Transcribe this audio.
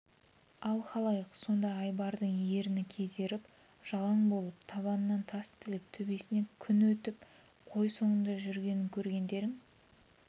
ал халайық сонда айбардың ерні кезеріп жалаң болып табанын тас тіліп төбесінен күн өтіп қой соңында жүргенін көргендерің